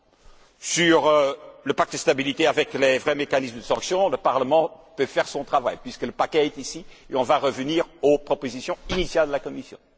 S'agissant du pacte de stabilité avec de vrais mécanismes de sanction, le Parlement peut faire son travail, puisque le paquet est ici et on va revenir aux propositions initiales de la Commission.